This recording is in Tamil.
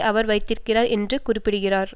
அவர் வைத்திருக்கிறார் என குறிப்பிடுகிறார்